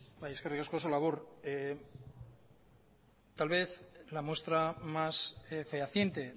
bai eskerrik asko oso labur tal vez la muestra más fehaciente